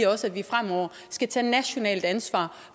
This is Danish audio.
også fremover skal tage nationalt ansvar